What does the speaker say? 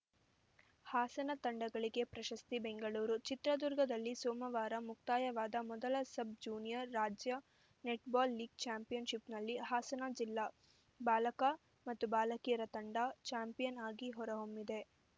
ಹಾಸನ ತಂಡಗಳಿಗೆ ಪ್ರಶಸ್ತಿ ಬೆಂಗಳೂರು ಚಿತ್ರದುರ್ಗದಲ್ಲಿ ಸೋಮವಾರ ಮುಕ್ತಾಯವಾದ ಮೊದಲ ಸಬ್‌ ಜೂನಿಯರ್‌ ರಾಜ್ಯ ನೆಟ್‌ಬಾಲ್‌ ಲೀಗ್‌ ಚಾಂಪಿಯನ್‌ಶಿಪ್‌ನಲ್ಲಿ ಹಾಸನ ಜಿಲ್ಲಾ ಬಾಲಕ ಮತ್ತು ಬಾಲಕಿಯರ ತಂಡ ಚಾಂಪಿಯನ್‌ ಆಗಿ ಹೊರಹೊಮ್ಮಿದೆ